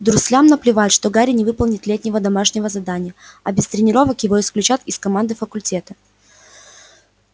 дурслям наплевать что гарри не выполнит летнего домашнего задания а без тренировок его исключат из команды факультета